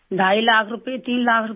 ढाई लाख रुपए तीन लाख रुपए